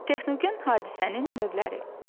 Texnogen hadisənin növləri.